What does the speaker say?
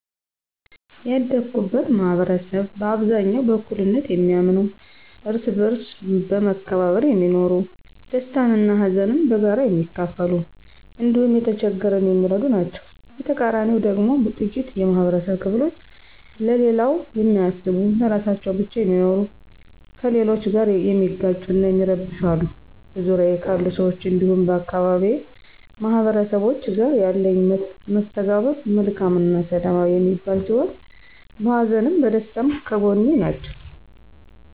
ያደኩበት ማህበረሰብ በአብዛኛው በእኩልነት የሚያምኑ፣ እርስ በእርስ በመከባበር የሚኖሩ፣ ደስታን እና ሀዘንን በጋራ የሚካፈሉ እንዲሁም የተቸገረን የሚረዱ ናቸዉ። በተቃራኒው ደግሞ ጥቂት የማህበረብ ክፍሎች ለሌላው የማያስቡ ለራሳቸው ብቻ የሚኖሩ፣ ከሌሎች ጋር የሚጋጩ እና የሚረብሹ አሉ። በዙሪያዬ ካሉ ሰዎች እንዲሁም የአካባቢዬ ማህበረሰቦች ጋር ያለኝ መስተጋብር መልካም እና ሰላማዊ የሚባል ሲሆን በሀዘንም በደስታም ከጐኔ ናቸው።